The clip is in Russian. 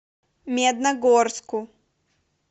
медногорску